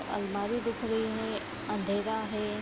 अलमारी दिख रही है अँधेरा है।